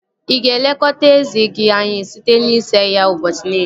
Ị ga-elekọta eze gị anya site n'isa ya ụbọchị niile